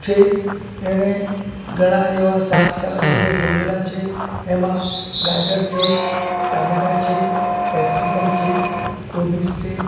છે એને ઘણા એવા શાક સરસ રીતે ગોઠવેલા છે એમા ગાજર છે ટમેટા છે કેપ્સીકમ છે કોબીઝ છે.